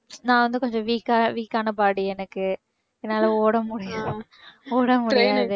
நான் வந்து கொஞ்சம் weak ஆ weak ஆன body எனக்கு என்னால ஓட முடியா~ ஓட முடியாது